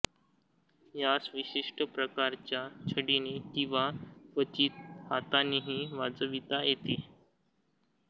यास विशिष्ट प्रकारच्या छडीने किंवा क्वचित हातानेही वाजविता येते